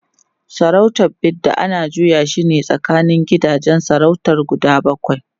sarautar Bida ana juya shine a tsakanin gidajen sarautar guda bakwai